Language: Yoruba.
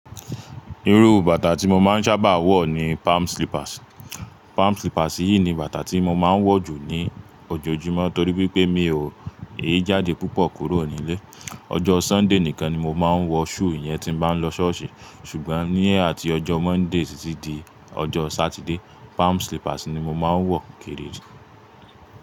Irú bàtà tí mo máa ń sábà wọ̀ ni palm slippers. Palm slippers yìí ni bàtà tí mo máa ń wọ̀ jù ní ojoojúmọ́ torí pé mi ò yè jáde púpọ̀ kúrò nílé. Ọjọ́ Sunday nìkan ni mo máa ń wọ shoe yẹn tí ń bá lọ ṣọ́ọ̀ṣì. Ṣùgbọ́n ní atí ọjọ́ Monday títí di ọjọ́ Saturday, palm slippers ni mo máa ń wọ̀ kéré jù.